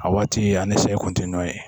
A waati ani sɛ kun ti nɔ ye